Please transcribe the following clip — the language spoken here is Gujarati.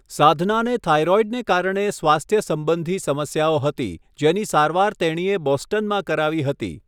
સાધનાને થાઇરોઇડને કારણે સ્વાસ્થ્ય સંબંધી સમસ્યાઓ હતી, જેની સારવાર તેણીએ બોસ્ટનમાં કરાવી હતી.